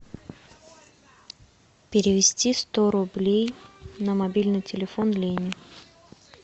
перевести сто рублей на мобильный телефон лене